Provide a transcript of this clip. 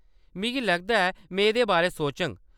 मिगी लगदा ऐ में एह्‌‌‌दे बारै सोचङ।